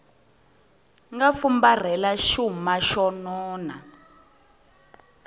nga fumbarhela xuma xo nona